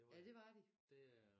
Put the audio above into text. Ja det var de